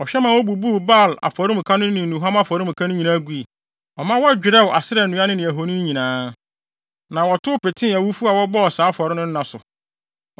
Ɔhwɛ ma wobubuu Baal afɔremuka no ne nnuhuam afɔremuka no nyinaa gui. Ɔma wɔdwerɛw Asera nnua ne ahoni nyinaa, na wɔtow petee awufo a wɔbɔɔ saa afɔre no nna so.